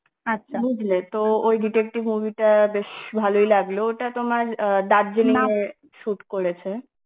তো ওই detective movie টা বেশ ভালই লাগলো ওটা তোমার আ Darjeeling shoot করেছে